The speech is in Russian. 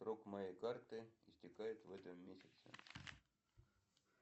срок моей карты истекает в этом месяце